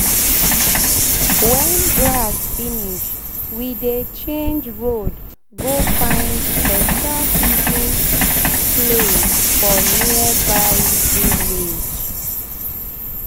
wen grass finish we dey change road go find beta feeding beta feeding place for nearby villa.